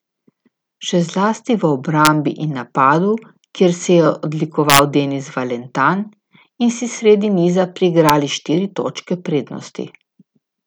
Še zlasti v obrambi in napadu, kjer se je odlikoval Denis Valentan, in si sredi niza priigrali štiri točke prednosti.